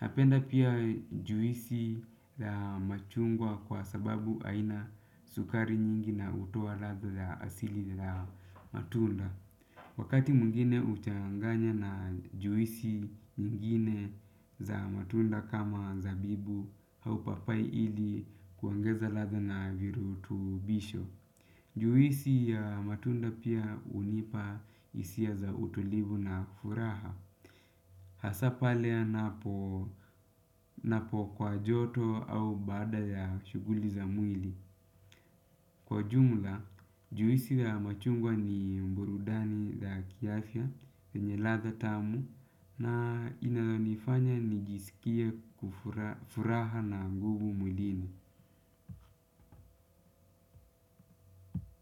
Napenda pia juisi la machungwa kwa sababu haina sukari nyingi na hutoa ladha za asili la matunda. Wakati mwingine huchanganya na juisi nyingine za matunda kama zabibu au papai ili kuongeza ladha na virutubisho. Juisi ya matunda pia hunipa hisia za utulivu na furaha. Hasa pale anapo kwa joto au baada ya shuguli za mwili. Kwa jumla, juisi ya machungwa ni burudani ya kiafya, yenye ladha tamu na inayonifanya nijiskie furaha na nguvu mwilini.